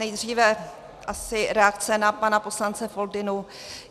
Nejdříve asi reakce na pana poslance Foldynu.